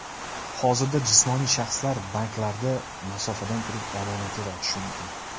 Hozirda jismoniy shaxslar banklarda masofadan turib omonatlar ochishi mumkin.